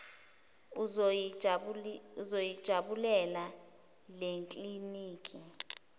uzoyi jabulela lekliniki